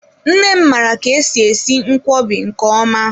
Nne m mara ka-esi esi nkwobi nke ọma.